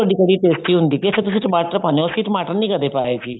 ਤੁਹਾਡੀ ਕੜ੍ਹੀ tasty ਹੁੰਦੀ ਹੈ ਅੱਛਾ ਤੁਸੀਂ ਟਮਾਟਰ ਪਾਉਂਦੇ ਹੋ ਅਸੀਂ ਟਮਾਟਰ ਨੀ ਕਦੇ ਪਾਏ ਜੀ